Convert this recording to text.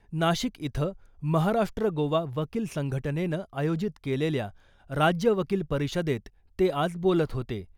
नाशिक इथं महाराष्ट्र गोवा वकील संघटनेनं आयोजित केलेल्या राज्य वकील परिषदेत ते आज बोलत होते.